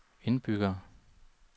indbyggere